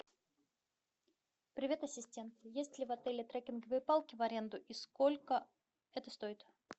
привет ассистент есть ли в отеле треккинговые палки в аренду и сколько это стоит